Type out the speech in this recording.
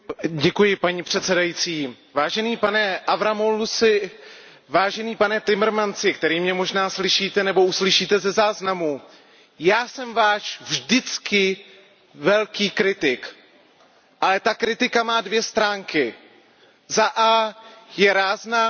Vážený pane Avramopoulusi, vážený pane Timmermansi, který mě možná slyšíte nebo uslyšíte ze záznamu, já jsem vždy váš velký kritik. Ale ta kritika má dvě stránky, za a je rázná, za b je věcná.